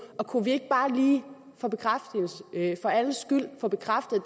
kunne vi ikke bare lige for alles skyld få bekræftet at